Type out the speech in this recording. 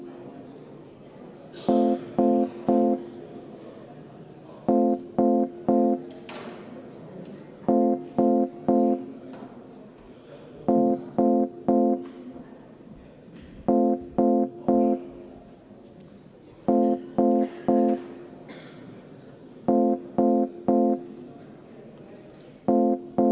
Juhtivkomisjoni ettepanek on eelnõu 520 teine lugemine lõpetada, kuid Eesti Reformierakonna fraktsioon on toonud juhataja laua peale paberi, millega teeb ettepaneku erakooliseaduse muutmise ja sellega seonduvalt teiste seaduste muutmise seaduse eelnõu teine lugemine katkestada.